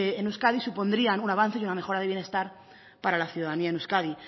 vtc que en euskadi supondrían un avance y una mejora de bienestar para la ciudadanía en euskadi